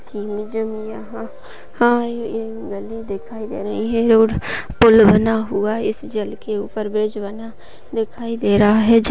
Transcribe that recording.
यहाँ हा नदी दिखाई दे रही है और पुल बना हुआ इस जल के उपर ब्रिज बना दिखाई दे रहा है।